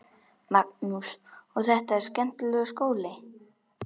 Magnús: Og er þetta skemmtilegur skóli?